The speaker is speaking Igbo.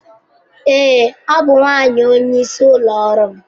Ee, ọ bụ nwanyị onyeisi ụlọ ọrụ m.